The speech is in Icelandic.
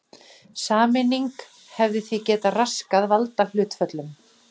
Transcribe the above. Sameining hefði því getað raskað valdahlutföllum.